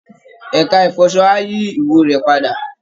Ẹ̀ka ìfọṣọ á yí ìwò rẹ padà